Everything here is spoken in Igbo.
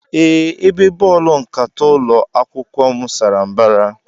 Ee, Ebe bọọlụ nkata ụlọ akwụkwọ m sara mbara.